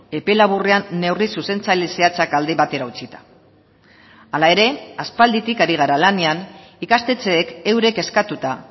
epe laburrean neurri zuzentzaile zehatzak alde batera utzita hala ere aspalditik ari gara lanean ikastetxeek eurek eskatuta